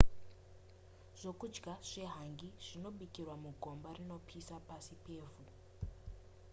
zvekudya zvehangi zvinobikirwa mugomba rinopisa pasi pevhu